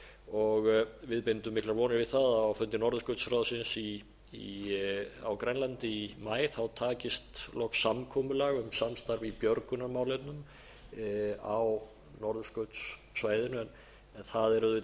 og við bindum miklar vonir við það að á fundi norðurskautsráðsins á grænlandi í maí takist loks samkomulag um samstarf í björgunarmálefnum á norðurskautssvæðinu en það er auðvitað